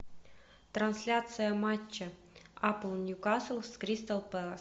трансляция матча апл ньюкасл с кристал пэлас